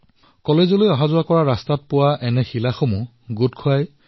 কলেজলৈ যোৱাৰ পথত ভাগ্যশ্ৰীয়ে এই কোমল শিলবোৰ সংগ্ৰহ কৰে আৰু পৰিষ্কাৰ কৰে